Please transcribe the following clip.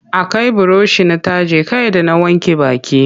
Akai burushi na taje kai da na wanke baki.